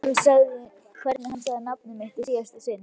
Hvernig hann sagði nafnið mitt í síðasta sinn.